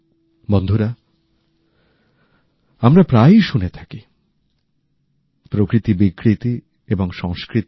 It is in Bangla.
বন্ধুরা আমরা প্রায়ই শুনে থাকি প্রকৃতি বিকৃতি এবং সংস্কৃতি